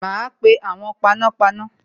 Ma pe awon panápaná